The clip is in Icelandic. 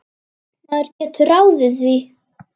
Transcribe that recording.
Maður getur ráðið því.